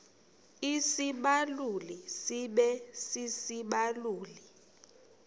isibaluli sibe sisibaluli